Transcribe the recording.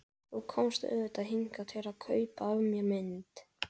Þú komst auðvitað hingað til að kaupa af mér mynd.